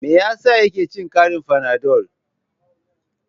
Me yasa yake cin karin fanadol?